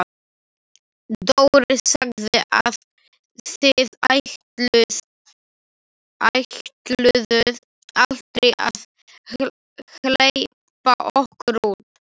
Dóri sagði að þið ætluðuð aldrei að hleypa okkur út,